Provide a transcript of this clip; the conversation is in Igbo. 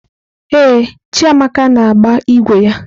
Ee, Chiamaka na-agba ígwè ya.